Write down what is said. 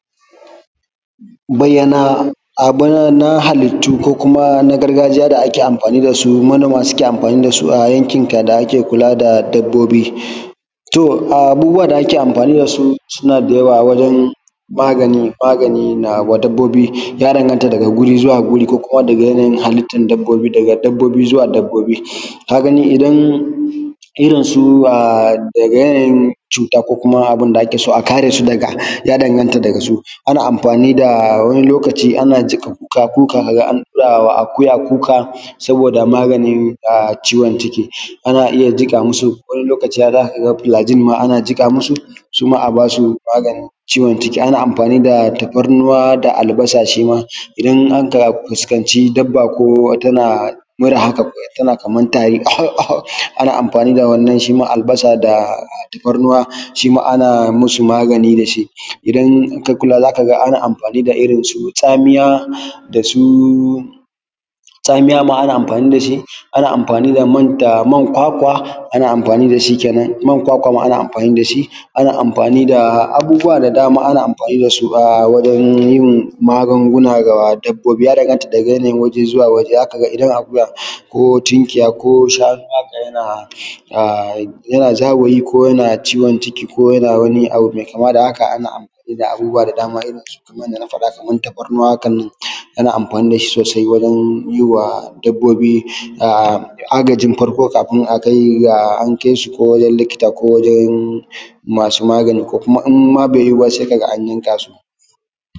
Bayyana abu na halittu ko kuma na gargajiya da ake amfani da su manoma suke amfani da su a yankin ka da ake kula da dabbobi, to a abubuwa da ake amfani da su suna da yawa wajen magani magani na wa dabbobi ya danganta daga wuri zuwa wuri ko kuma daga yanayin halittan dabbobi daga dabbobi zuwa dabbobi, kaga ni idan irin su a daga yanayin cuta ko kuma abun da ke so aka dasu daga ya danganta daga su, ana amfani da wani lokaci ana jiƙa kuka kuka kaga an ɗurawa akuya kuka sabo da maganin a ciwon ciki ana iya jiƙa musu wani lokaci har zaka ga filajin ma ana jiƙa musu su ma a ba su maganin ciwon ciki ana amfani da tafarnuwa da albasa shi ma idan aka fuskanci dabba ko tana mura haka ko tana kaman tari aho aho ana amfani da wannan shi ma albasa da tafarnuwa shi ma ana musu magani da shi, idan ka kula zaka ga ana amfani da irin su tsamiya da su tsamiya ma ana amfani da shi ana amfani da man da man kwakwa ana mafani da shi kenan man kwakwa ma ana mafani shi, ana mafani da abubuwa da dama ana amfani da su a wajen yin magunguna ga dabbobi ya danganta daga yanayin waje zuwa waje zaka ga idan akuya ko tinkiya ko shanu haka yana a yana zawayi ko yana ciwon ciki ko yana wani abu mai kama da haka ana amfani da abubuwa da dama irin su kaman abu da na faɗa kamar tafarnuwa haka nan ana anfani da shi sosai wajen yiwa dabbobi a agajin farko kafin a kai ga an kai shi ko wajen likita ko wqjen masu magani ko kuma imma bai yuwu ba sai kaga an yamka su.